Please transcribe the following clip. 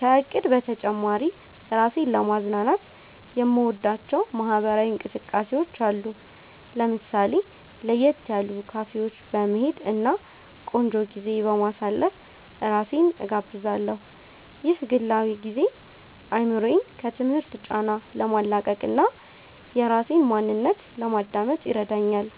ከእቅድ በተጨማሪ፣ ራሴን ለማዝናናት የምወዳቸው ማህበራዊ እንቅስቃሴዎች አሉ። ለምሳሌ፣ ለየት ያሉ ካፌዎች በመሄድ እና ቆንጆ ጊዜ በማሳለፍ ራሴን እጋብዛለሁ። ይህ ግላዊ ጊዜ አእምሮዬን ከትምህርት ጫና ለማላቀቅ እና የራሴን ማንነት ለማዳመጥ ይረዳኛል